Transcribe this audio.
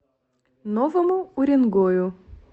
новому уренгою